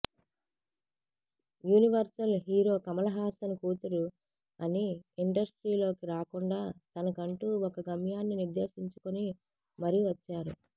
universal hero Kamal Haasan కూతురు అని ఇండస్ట్రీలోకి రాకుండా తనకంటూ ఒక గమ్యాన్ని నిర్దేశించుకుని మరీ వచ్చారు